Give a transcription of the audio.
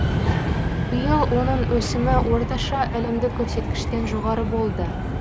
биыл оның өсімі орташа әлемдік көрсеткіштен жоғары болды